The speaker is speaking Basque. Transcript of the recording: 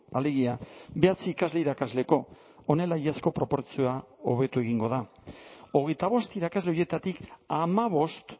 alegia bederatzi ikasle irakasleko honela iazko proportzioa hobetu egingo da hogeita bost irakasle horietatik hamabost